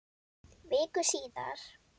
Viku síðar.